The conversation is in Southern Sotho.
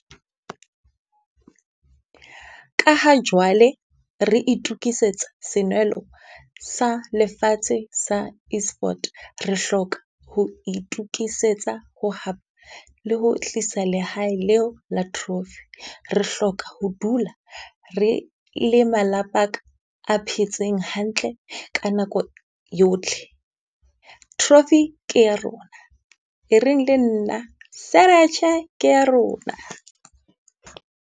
Ka ha jwale re itukisetsa senwelo sa lefatshe sa Esport, re hloka ho itukisetsa ho le ho tlisa lehae leo la trophy. Re hloka ho dula re le malapa a phetseng hantle ka nako yotlhe. Trophy ke ya rona, e reng le nna ke ya rona.